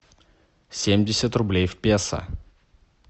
семьдесят рублей в песо